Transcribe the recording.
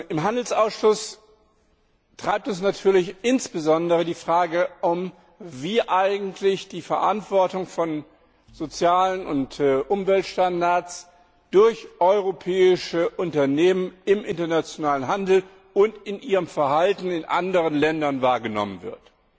Im Handelsausschuss treibt uns natürlich insbesondere die Frage um, wie eigentlich die Verantwortung für soziale und Umweltstandards durch europäische Unternehmen im internationalen Handel und in ihrem Verhalten in anderen Ländern wahrgenommen wird.